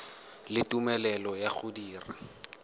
le tumelelo ya go dira